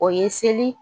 O ye seli